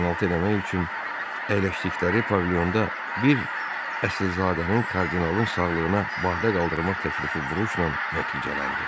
Qəlyaltı eləmək üçün əyləşdikləri pavilyonda bir əsilzadənin kardinalın sağlığına badə qaldırmaq təklifi vuruşla nəticələndi.